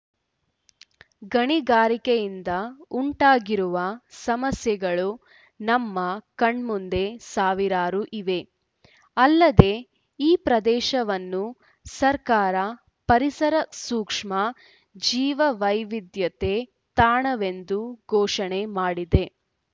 ಗಣಿಗಾರಿಕೆಯಿಂದ ಉಂಟಾಗಿರುವ ಸಮಸ್ಯೆಗಳು ನಮ್ಮ ಕಣ್ಮುಂದೆ ಸಾವಿರಾರು ಇವೆ ಅಲ್ಲದೇ ಈ ಪ್ರದೇಶವನ್ನು ಸರ್ಕಾರ ಪರಿಸರಸೂಕ್ಷ್ಮ ಜೀವವೈವಿಧ್ಯತೆ ತಾಣವೆಂದು ಘೋಷಣೆ ಮಾಡಿದೆ